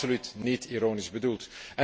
Dat is absoluut niet ironisch bedoeld.